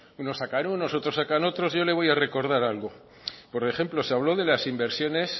unos sacan unos otros sacan otros yo le voy a recordar algo por ejemplo se habló de las inversiones